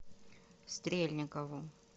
стрельникову